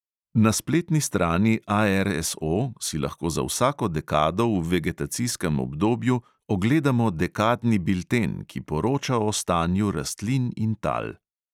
Na spletni strani ARSO si lahko za vsako dekado v vegetacijskem obdobju ogledamo dekadni bilten, ki poroča o stanju rastlin in tal.